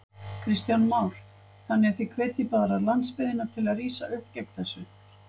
Kristján Már: Þannig að þið hvetjið bara landsbyggðina til að rísa upp gegn þessu?